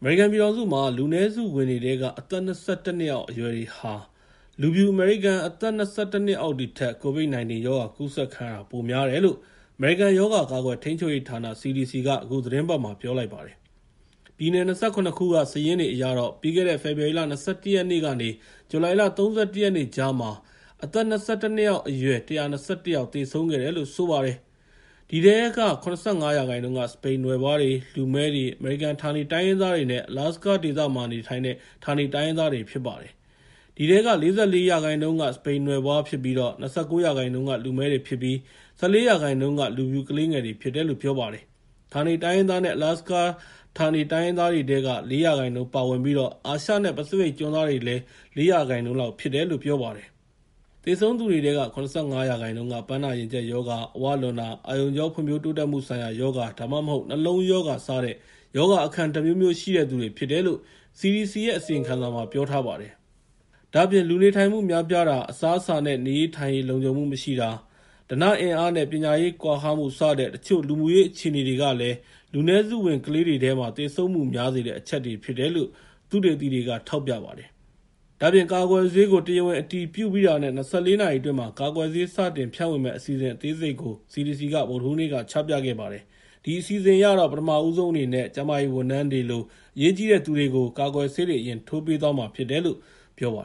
အမေရိကန်ပြည်ထောင်စုမှာ လူနည်းစုဝင်တွေထဲက အသက် ၂၁ နှစ်အောက် အရွယ်တွေဟာ လူဖြူအမေရိကန် အသက် ၂၁ နှစ်အောက်တွေထက် COVID-19 ရောဂါကူးစက်ခံရတာ ပိုများတယ်လို့ အမေရိကန်ရောဂါကာကွယ်ထိန်းချုပ်ရေးဌာန (CDC) က အခုသီတင်းပတ်မှာ ပြောကြားလိုက်ပါတယ်။ ပြည်နယ် ၂၇ ခုက စာရင်းတွေအရတော့ ပြီးခဲ့တဲ့ ဖေဖော်ဝါရီလ ၂၁ ရက်ကနေ ဇူလိုင် ၃၁ ရက်ကြားမှာ အသက် ၂၁ နှစ်အောက် အရွယ် ၁၂၁ ယောက်သေဆုံးခဲ့ပါတယ်။ အဲဒီထဲက ၇၅ ရာခိုင်နှုန်းက စပိန်နွယ်ဖွားတွေ၊ လူမည်းတွေ၊ အမေရိကန်ဌာနေ တိုင်းရင်းသားတွေနဲ့ Alasaka ဌာနေ တိုင်းရင်းသားတွေဖြစ်ပါတယ်။ အဲဒီထဲမှာ ၄၄ ရာခိုင်နှုန်းက စပိန်နွယ်ဖွား၊ ၂၉ ရာခိုင်နှုန်းက လူမည်းတွေဖြစ်ပြီး ၁၄ ရာခိုင်နှုန်းကပဲ လူဖြူ ကလေးငယ်တွေဖြစ်တယ်လို့ ပြောပါတယ်။ ဌာနေတိုင်းရင်းသားနဲ့ Alaska ဌာနေတိုင်းရင်းသားတွေထဲက ၄ ရာခိုင်နှုန်းဖြစ်ပြီး အာရှနဲ့ ပစိဖိတ်ကျွန်းသားတွေကလည်း ၄ ရာခိုင်နှုန်း လောက်ဖြစ်တယ်လို့ ပြောပါတယ်။ သေဆုံးတဲ့သူတွေထဲက ၇၅ ရာခိုင်နှုန်းက ပန်းနာရင်ကြပ်ရောဂါ၊ အဝလွန်တာ၊ အာရုံကြောနဲ့ ဖွံ့ဖြိုးတိုးတက်မှုဆိုင်ရာရောဂါ ဒါမှမဟုတ် နှလုံးရောဂါစတဲ့ ရောဂါအခံတမျိုးမျိုးရှိတဲ့သူတွေဖြစ်တယ်လို့ CDC ရဲ့ အစီရင်ခံစာထဲမှာ ပြောထားပါတယ်။ ဒါ့အပြင် လူနေထိုင်မှုများပြားတာ၊ အစားအစာနဲ့ နေရေးထိုင်ရေး လုံခြုံမှုမရှိတာ၊ ဓနအင်အားနဲ့ပညာရေးကွာဟမှုစတဲ့ တချို့ လူမှုရေးအခြေအနေတွေကလည်း လူနည်းစုဝင်ကလေးတွေထဲမှာ သေဆုံးမှုများစေတဲ့ အချက်တွေဖြစ်တယ်လို့ သုတေသီတွေက ထောက်ပြပါတယ်။ ဒါ့အပြင် ကာကွယ်ဆေးကို တရားဝင်အတည်ပြုပြီးတာနဲ့ ၂၄ နာရီအတွင်း ကာကွယ်ဆေး စတင်ဖြန့်ဝေမယ့် အစီအစဉ်အသေးစိတ်ကို CDC က ဗုဒ္ဓဟူးနေ့က ချပြခဲ့ပါတယ်။ အဲဒီအစီအစဉ်အရတော့ ပထမဦးဆုံးအနေနဲ့ ကျန်းမာရေးဝန်ထမ်းတွေလို အရေးကြီးတဲ့သူတွေကို ကာကွယ်ဆေး အရင်ထိုးပေးသွားမှာဖြစ်တယ်လို့ ပြောပါ